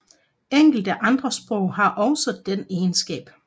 Enkelte andre sprog har også den egenskab